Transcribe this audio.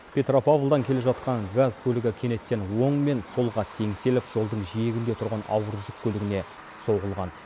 петропавлдан келе жатқан газ көлігі кенеттен оң мен солға теңселіп жолдың жиегінде тұрған ауыр жүк көлігіне соғылған